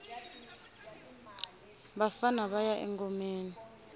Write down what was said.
vafana vaya engomeni